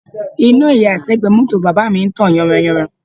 Iná ìyàṣẹ́gbẹ̀ẹ́ mọ́tò bàbá mi ń tàn yanran yanran